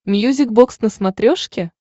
мьюзик бокс на смотрешке